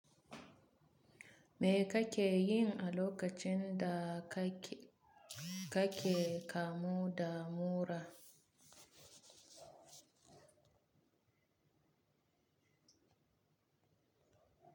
Me kake yin a lokacin da kake kamu da mura?